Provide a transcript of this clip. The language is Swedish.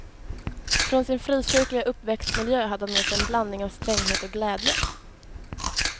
Från sin frikyrkliga uppväxtmiljö hade han med sig en blandning av stränghet och glädje.